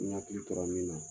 N y'a hakili tola min na.